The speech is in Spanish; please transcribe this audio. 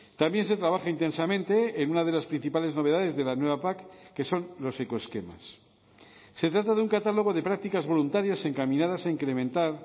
también se trabaja intensamente en una de las principales novedades de la nueva pac que son los ecoesquemas se trata de un catálogo de prácticas voluntarias encaminadas a incrementar